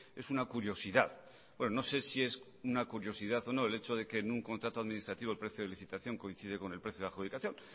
es una curiosidad no sé si es una curiosidad o no el hecho de que en un contrato administrativo el precio de licitación coincide con el precio de adjudicación